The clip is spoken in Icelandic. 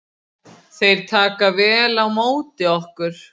Þeir taka vel á móti okkur